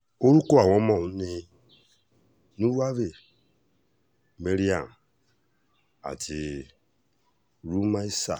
orúkọ àwọn ọmọ ọ̀hún ni nuvave maryam àti rùmaísa